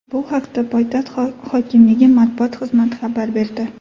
Bu haqda poytaxt hokimligi matbuot xizmati xabar berdi.